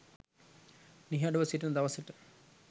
නිහඬව සිටින දවසට